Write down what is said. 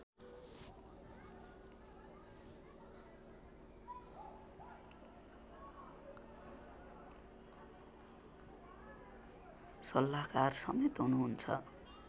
सल्लाहकार समेत हुनुहुन्छ